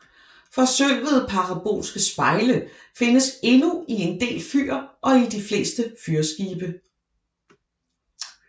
Forsølvede parabolske spejle findes endnu i en del fyr og i de fleste fyrskibe